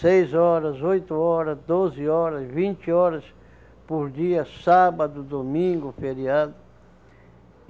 Seis horas, oito hora, doze horas, vinte horas por dia, sábado, domingo, feriado.